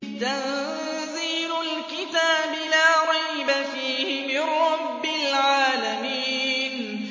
تَنزِيلُ الْكِتَابِ لَا رَيْبَ فِيهِ مِن رَّبِّ الْعَالَمِينَ